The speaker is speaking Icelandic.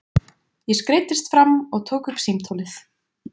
Ég skreiddist fram og tók upp símtólið.